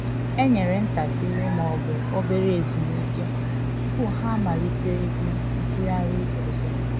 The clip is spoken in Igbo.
E nyere ntakịrị /obere ezumike tupu ha amalite egwu ntụgharị ọzọ